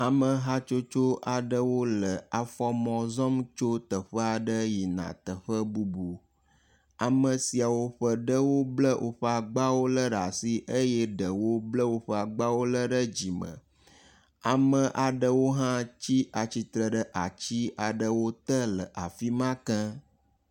Ameha tsotso aɖewo le afɔmɔ zɔm tso teƒe aɖe yina teƒe bubu, ame siawo ƒe ɖewo bla woƒe agbawo lé ɖe asi eye ɖewo bla woƒe agbawo lé ɖe dzime, ame aɖewo hã tsi atsitre ɖe ati aɖewo te le afi ma ke.